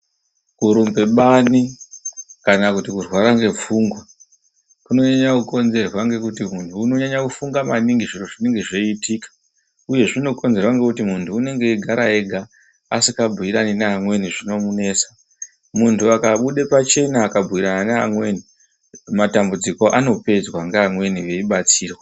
Kurumbe bani kana kuti kurwara ngepfungwa kunonyanya kukonzerwa ngekuti munthu unonyanya kufunga maningi zviro zvinenge zveiitika uye zvinokonzerwa ngokuti munthu unenge eigara ega asikabhuyirani neamweni zvinomunesa. Munthu akabuda pachena akabhuyirana neamweni matambudziko anopedzwa ngeamweni veibatsira.